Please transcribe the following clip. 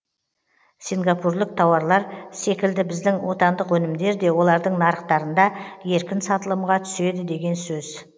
сингапурлік тауарлар секілді біздің отандық өнімдер де олардың нарықтарында еркін сатылымға түседі деген сөз